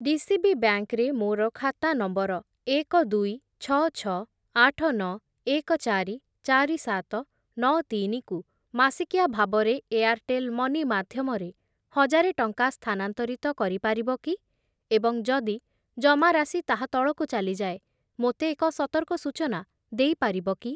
DCB bank ରେ ମୋର ଖାତା ନମ୍ବର ଏକ, ଦୁଇ, ଛଅ, ଛଅ, ଆଠ, ନଅ, ଏକ, ଚାରି, ଚାରି, ସାତ, ନଅ, ତିନି କୁ ମାସିକିଆ ଭାବରେ ଏୟାର୍‌ଟେଲ୍‌ ମନି ମାଧ୍ୟମରେ ହଜାରେ ଟଙ୍କା ସ୍ଥାନାନ୍ତରିତ କରିପାରିବ କି ଏବଂ ଯଦି ଜମାରାଶି ତାହା ତଳକୁ ଚାଲିଯାଏ ମୋତେ ଏକ ସତର୍କ ସୂଚନା ଦେଇପାରିବ କି?